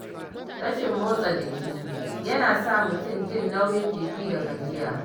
Rashin motsa jiki yana sa mutum jin nauyin jiki da gajiya.